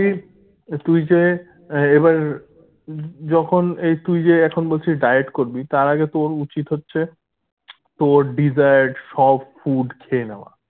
তুই যে আহ এবার যখন এই তুই যে এখন বলছিস diet করবি তার আগে তোর উচিত হচ্ছে তোর desired সব food খেয়ে নেওয়া